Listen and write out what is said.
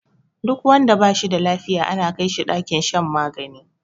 Duk wanda bashi da lafiya ana kai shi ɗakin shan magani